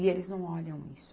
E eles não olham isso.